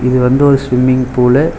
இது வந்து ஒரு ஸ்விம்மிங் பூலு .